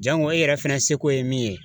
Jango e yɛrɛ fɛnɛ seko ye min ye